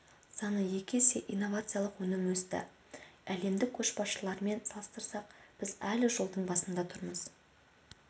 саны екі есе инновациялық өнім есе өсті әлемдік көшбасшылармен салыстырсақ біз әлі жолдың басында тұрмыз